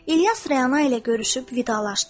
İlyas Rəna ilə görüşüb vidalaşdı.